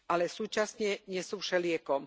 Ale súčasne nie sú všeliekom.